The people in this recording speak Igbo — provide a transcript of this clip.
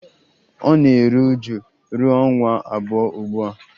Ọ na-eru uju ruo ọnwa abụọ ugbu a